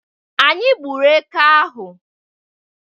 Anyị gburu eke ahụ